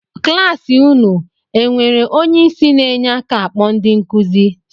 Kịlasị unu e enwere onye isi na-enye aka akpọ ndị nkuzi?